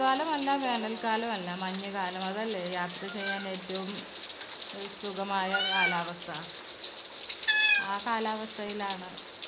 മഴക്കാലോമല്ല വേനൽ ക്കാലോമല്ല മഞ്ഞുകാലം അതല്ലേ യാത്ര ചെയ്യാൻ ഏറ്റവും ഏർ സുഖമായ കാലാവസ്ഥാ. ആ കാലാവസ്ഥായിലാണ്